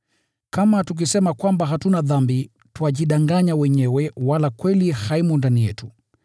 Kama tukisema kwamba hatuna dhambi, twajidanganya wenyewe wala kweli haimo ndani yetu.